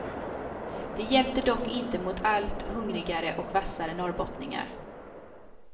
Det hjälpte dock inte mot allt hungrigare och vassare norrbottningar.